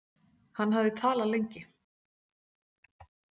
Hann hafði talað lengi.